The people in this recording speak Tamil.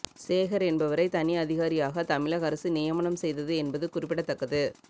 சேகர் என்பவரை தனி அதிகாரியாக தமிழக அரசு நியமனம் செய்தது என்பது குறிப்பிடத்தக்கது